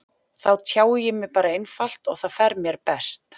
Þá tjái ég mig bara einfalt og það fer mér best.